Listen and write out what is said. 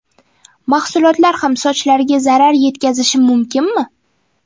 Mahsulotlar ham sochlarga zarar yetkazishi mumkinmi?